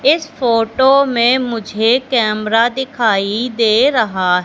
इस फोटो मैं मुझे कैमरा दिखाई दे रहा--